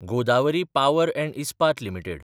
Godavari power & Ispat limited